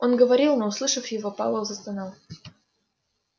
он говорил но услышав его пауэлл застонал